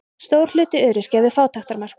Stór hluti öryrkja við fátæktarmörk